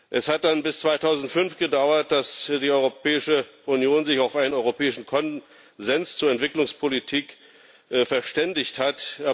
Es hat dann bis 2005 gedauert, dass die Europäische Union sich auf einen europäischen Konsens zur Entwicklungspolitik verständigt hat.